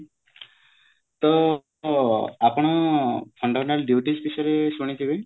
ତ ଆପଣ fundamental duties ବିଷୟରେ ଶୁଣିଥିବେ